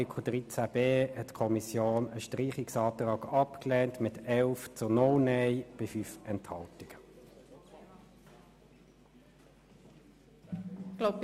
Bei Artikel 13b lehnte die Kommission einen Streichungsantrag mit 11 zu 0 Nein-Stimmen bei 5 Enthaltungen ab.